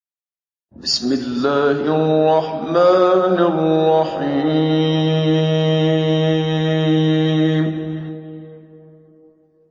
بِسْمِ اللَّهِ الرَّحْمَٰنِ الرَّحِيمِ